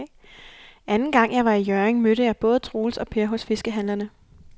Anden gang jeg var i Hjørring, mødte jeg både Troels og Per hos fiskehandlerne.